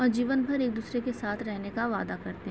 और जीवन भर एक दूसरे के साथ रहने का वादा करते --